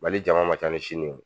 Mali jama ma ca ni ye